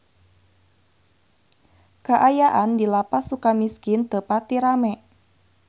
Kaayaan di Lapas Sukamiskin teu pati rame